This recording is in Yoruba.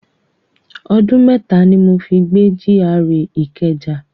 Ọdún mẹ́ta ni mo fi gbé ni GRA Ìkẹjà.